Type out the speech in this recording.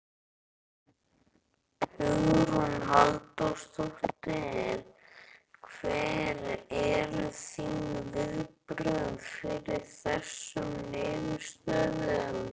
Hugrún Halldórsdóttir: Hver eru þín viðbrögð við þessum niðurstöðum?